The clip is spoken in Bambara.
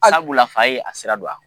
Sabula, fa ye a sira don a